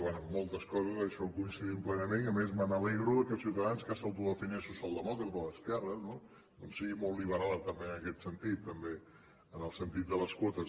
bé en moltes coses en això coincidim plenament i a més m’alegro que ciutadans que s’autodefineix socialdemòcrata d’esquerres no doncs sigui molt liberal també en aquest sentit també en el sentit de les quotes